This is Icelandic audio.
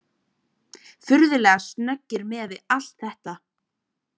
Furðulega snöggir miðað við allt þetta.